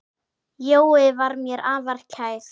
Jói var mér afar kær.